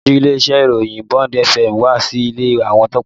Aṣojú ilé-iṣẹ́ ìròyìn Bond fm wá sí ilé àwọn Tọ́pẹ́